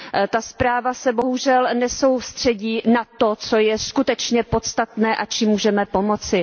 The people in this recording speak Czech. Ta zpráva se bohužel nesoustředí na to, co je skutečně podstatné a čím můžeme pomoci.